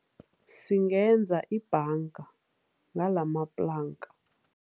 Singenza ibhanga ngalamaplanka.